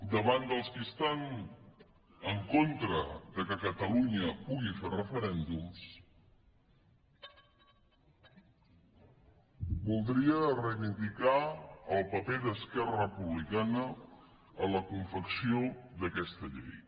davant dels qui estan en contra que catalunya pugui fer referèndums voldria reivindicar el paper d’esquerra republicana en la confecció d’aquesta llei